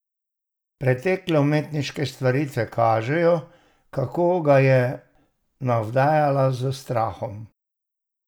Pretekle umetniške stvaritve kažejo, kako ga je navdajala s strahom.